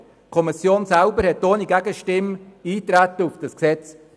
Die Kommission beschloss ohne Gegenstimme Eintreten auf das Gesetz.